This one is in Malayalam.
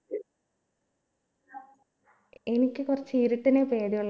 എനിക്ക് കുറച്ച് ഇരുട്ടിനെ പേടിയുള്ള